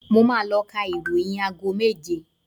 Mo máa ló ka ìròyìn aago méje